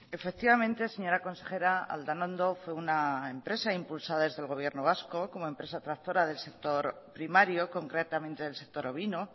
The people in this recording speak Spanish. efectivamente señora consejera aldanando fue una empresa impulsada desde el gobierno vasco como empresa tractora del sector primario concretamente del sector ovino